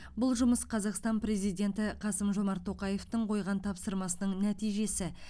бұл жұмыс қазақстан президенті қасым жомарт тоқаевтың қойған тапсырмасының нәтижесі